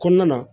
Kɔnɔna na